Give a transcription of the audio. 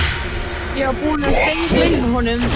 Ég var búinn að steingleyma honum